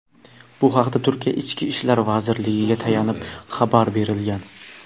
Bu haqda Turkiya Ichki ishlar vazirligiga tayanib xabar berilgan.